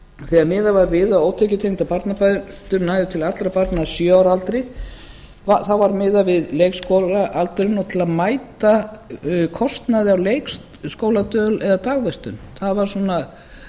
þegar miðað var við að ótekjutengdar barnabætur næðu til allra barna að sjö ára aldri var miðað við leikskólaaldurinn og til að mæta kostnaði af leikskóladvöl eða dagvistun það var svona